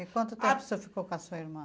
E quanto tempo você ficou com a sua irmã?